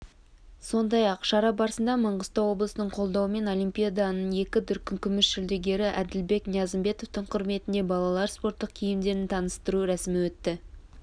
сондай-ақ шара барысында маңғыстау облысының қолдауымен олимпиаданың екі дүркін күміс жүлдегері әділбек ниязымбетовтің құрметіне балалар спорттық киімдерін таныстыру рәсімі өтті